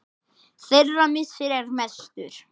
Þeirra missir er mestur.